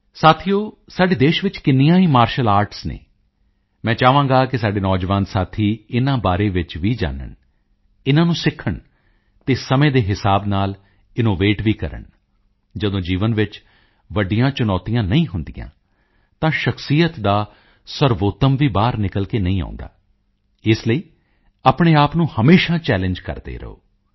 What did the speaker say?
ਸਾਥੀਓ ਸਾਡੇ ਦੇਸ਼ ਵਿੱਚ ਕਿੰਨੀਆਂ ਹੀ ਮਾਰਟੀਅਲ ਆਰਟਸ ਹਨ ਮੈਂ ਚਾਹਾਂਗਾ ਕਿ ਸਾਡੇ ਨੌਜਵਾਨ ਸਾਥੀ ਇਨ੍ਹਾਂ ਦੇ ਬਾਰੇ ਵਿੱਚ ਵੀ ਜਾਨਣ ਇਨ੍ਹਾਂ ਨੂੰ ਸਿੱਖਣ ਅਤੇ ਸਮੇਂ ਦੇ ਹਿਸਾਬ ਨਾਲ ਇਨੋਵੇਟ ਵੀ ਕਰਨ ਜਦੋਂ ਜੀਵਨ ਵਿੱਚ ਵੱਡੀਆਂ ਚੁਣੌਤੀਆਂ ਨਹੀਂ ਹੁੰਦੀਆਂ ਤਾਂ ਸ਼ਖ਼ਸੀਅਤ ਦਾ ਸਰਵਉੱਤਮ ਵੀ ਬਾਹਰ ਨਿਕਲ ਕੇ ਨਹੀਂ ਆਉਂਦਾ ਇਸ ਲਈ ਆਪਣੇ ਆਪ ਨੂੰ ਹਮੇਸ਼ਾ ਚੱਲੇਂਗੇ ਕਰਦੇ ਰਹੋ